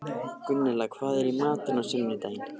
Gunnella, hvað er í matinn á sunnudaginn?